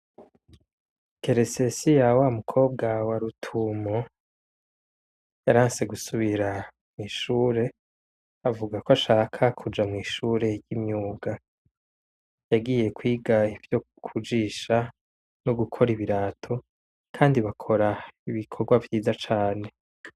Teresesiya wamukobwa wa rutumo ,yaranse gusubira mw'ishure avuga ko ashaka kuja mw'ishure ry'imyuga ,yagiye kwiga ivyo kujisha ,nogukora ibirato kandi bakora ibikorwa vyiza cane.